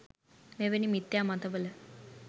මෙවැනි මිථ්‍යා මතවල